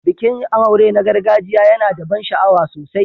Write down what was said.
Bikin aure na gargajiya yana da ban sha'awa sosai.